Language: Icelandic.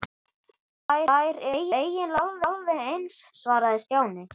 Þær eru eiginlega alveg eins svaraði Stjáni.